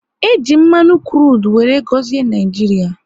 E ji mmanụ krudu wéré gọzie Naijiria